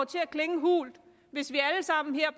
til at klinge hult hvis vi alle sammen her